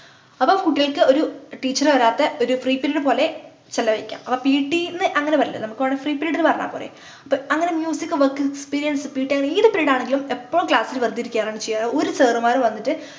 അപ്പോം കുട്ടികൾക്ക് ഒരു teacher വരാത്തെ ഒരു free period പോലെ ചെലവഴിക്കാം അപ്പൊ pt ന്നു അങ്ങനെ പറയണ്ടല്ലോ നമ്മുക് വേണെങ്കി free period ന്നു പറഞ്ഞാ പോരെ അപ്പൊ അങ്ങനെ music work experiencept അങ്ങനെ ഏത് period ആണെങ്കിലും എപ്പോളും class ൽ വെറുതെ ഇരിക്കയാണ് ചെയ്യാറ് ഒരു sir മ്മാര് വന്നിട്ട്